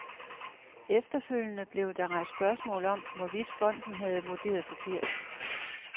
Efterfølgende blev der rejst spørgsmål om, hvorvidt fonden havde vurderet forkert.